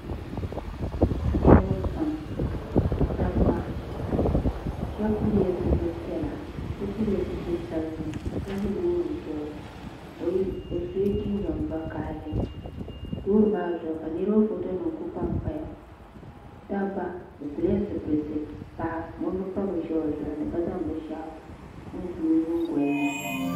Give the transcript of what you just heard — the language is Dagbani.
niriba pamdabiba shɛbi piɛla zibipiɛlla so piɛllla zibisabinli ka ʒɛ lori zuɣ' o so la jinjam vakahili lori maa zuɣ ka niriba ƒɔtonim kuli panpaya dabiba be piɛla zibilisi so ʒɛya ŋɔ be pa bɛn shɛbli o zuɣ ni ka zaŋ bɛni shɛgu piɛli o zuɣ' ni